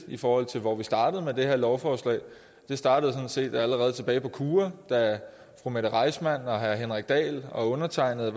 i forhold til hvor vi startede med det her lovforslag det startede sådan set allerede tilbage på kua da fru mette reissmann herre henrik dahl og undertegnede